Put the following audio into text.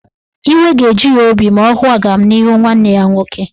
Iwe ga-eju ya obi ma ọ hụ agamnihu nwanne ya nwoke.